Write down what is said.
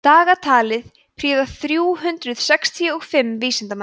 dagatalið prýða þrjú hundruð sextíu og fimm vísindamenn